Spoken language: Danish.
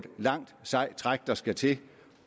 langt sejt træk der skal til